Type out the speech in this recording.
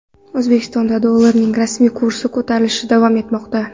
O‘zbekistonda dollarning rasmiy kursi ko‘tarilishda davom etmoqda.